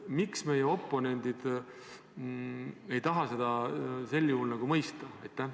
Miks meie oponendid ei taha seda mõista?